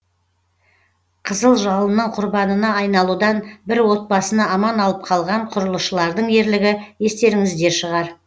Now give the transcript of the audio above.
қызыл жалынның құрбанына айналудан бір отбасыны аман алып қалған құрылысшылардың ерлігі естеріңізде шығар